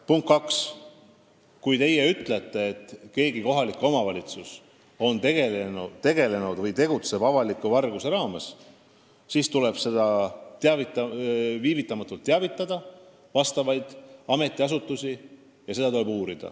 Punkt kaks: kui te ütlete, et mõni kohalik omavalitsus on tegutsenud või tegutseb avaliku varguse raames, siis tuleb sellest viivitamatult teavitada vastavaid ametiasutusi ja seda uurida.